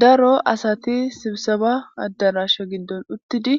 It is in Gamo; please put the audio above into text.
daro asati sibsaba addarasha giddon uttidi